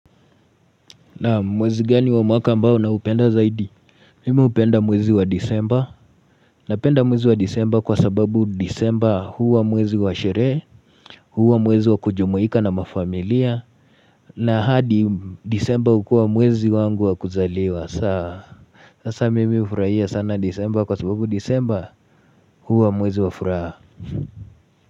Na mwezi gani wa mwaka mbao na upenda zaidi? Mimi hupenda mwezi wa Disemba napenda mwezi wa Disemba kwa sababu Disemba huwa mwezi wa sherehe huwa mwezi wa kujumuika na mafamilia na hadi Disemba hukua mwezi wangu wakuzaliwa saa sasa mimi hufuraia sana Disemba kwa sababu Disemba huwa mwezi wa furaha.